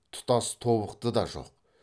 тұтас тобықты да жоқ